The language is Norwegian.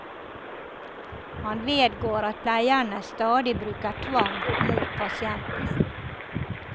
Han vedgår at pleierne stadig bruker tvang mot pasientene.